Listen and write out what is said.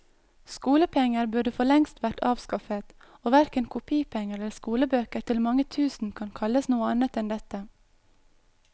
Skolepenger burde for lengst vært avskaffet, og verken kopipenger eller skolebøker til mange tusen kan kalles noe annet enn dette.